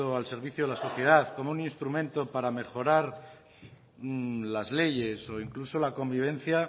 al servicio de la sociedad como un instrumento para mejorar las leyes o incluso la convivencia